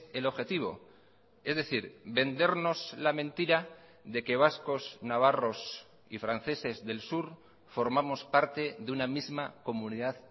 el objetivo es decir vendernos la mentira de que vascos navarros y franceses del sur formamos parte de una misma comunidad